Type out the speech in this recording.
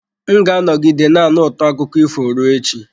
M ga-anọgide na-anụ ụtọ akụkọ ifo ruo echi.